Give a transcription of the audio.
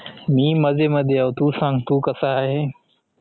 मी मजे मध्ये अहो तु सांग तु कसा आहे